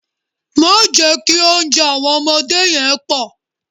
Má jẹ́ kí oúnjẹ àwọn ọmọdé yẹn pọ̀.